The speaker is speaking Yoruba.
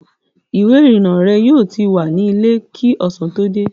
Ìwé-ìrìnnà rẹ yóò ti wà nílẹ̀ kí ọ̀sán tó dé.